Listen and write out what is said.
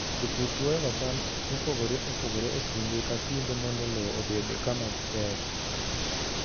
Jopur chwoyoga cham mopogore opogore e kinde ka kinde mondo lowo obed kama ber.